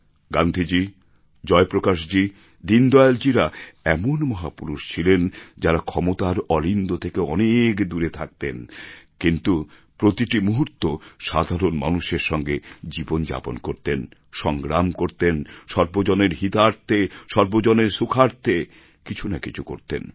গান্ধীজী জয়প্রকাশজী দীনদয়ালজীরা এমন মহাপুরুষ ছিলেন যাঁরা ক্ষমতার অলিন্দ থেকে অনেক দূরে থাকতেন কিন্তু প্রতিটি মুহূর্ত সাধারণ মানুষের সঙ্গে জীবন যাপন করতেন সংগ্রাম করতেন সর্বজনের হিতার্থে সর্বজনের সুখার্থে কিছু না কিছু করতেন